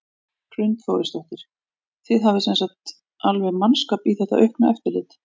Hrund Þórsdóttir: Þið hafið sem sagt alveg mannskap í þetta aukna eftirlit?